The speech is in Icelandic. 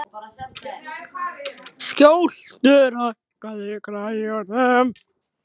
Skjöldur, hækkaðu í græjunum.